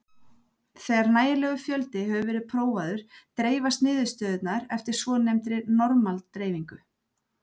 Þegar nægilegur fjöldi hefur verið prófaður dreifast niðurstöðurnar eftir svonefndri normal-dreifingu.